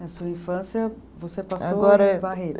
Na sua infância, você passou. Agora.